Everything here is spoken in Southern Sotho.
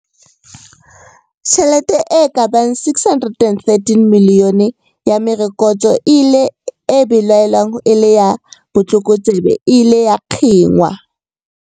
Tjhelete e ka bang 613 milione ya merokotso e belaelwang e le ya botlokotsebe e ile ya kginwa.